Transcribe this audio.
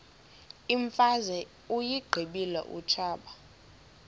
imfazwe uyiqibile utshaba